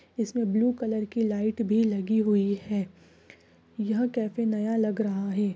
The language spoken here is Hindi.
इस में ब्लू कलर की लाइट भी लगी हुई हे यह कैफ़े नया लग रहा हे।